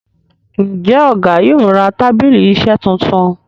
Njé Ọgá yóò rà tábìlì iṣe títún?